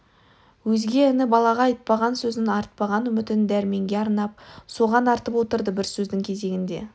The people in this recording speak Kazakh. өзге іні-балаға айтпаған сөзін артпаған үмітін дәрменге арнап соған артып отырды бір сөздің кезегінде